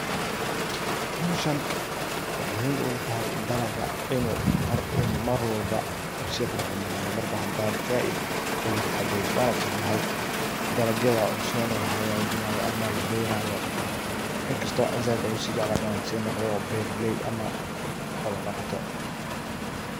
Howshan wuxu muhim ugu yahay dalaga inu marwalba si qurux badnado marbo hadi si walba oga taxadareso. Dalagyada cusub oo laberayo oo inkasto an zaid u jeclahay inan beraley si noqdo xolo daqato.